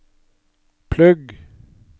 plugg